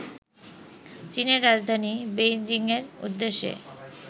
চীনের রাজধানী বেইজিংয়ের উদ্দেশ্যে